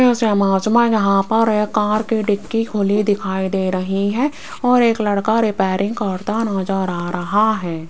इस इमेज में यहां पर एक कार की डिग्गी खुली दिखाई दे रही है और एक लड़का रिपेयरिंग करता नजर आ रहा है।